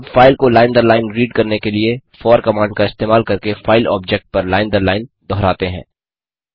अब फाइल को लाइन दर लाइन रीड करने के लिए फोर कमांड का इस्तेमाल करके फाइल ऑब्जेक्ट पर लाइन दर लाइन दोहराते हैं